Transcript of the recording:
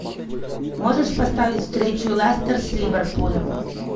можешь поставить встречу лестер с ливерпулем